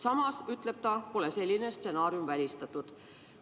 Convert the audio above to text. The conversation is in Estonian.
Samas ütleb ta, et selline stsenaarium pole välistatud.